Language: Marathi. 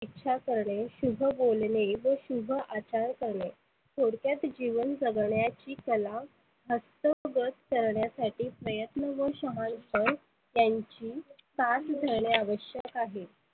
इच्छा करणे, शुभ बोलने, व शुभ अचार करणे थोडक्यात जिवन जगण्याची कला हस्तगत करण्यासाठी प्रयत्न व शहाणपण त्यांची साथ धरणे आवश्यक आहे.